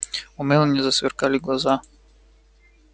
у мелани засверкали глаза